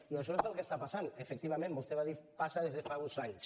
i això és el que està passant efectivament vostè ho ha dit passa des de fa uns anys